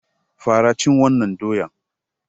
Fara cin wannan doyan!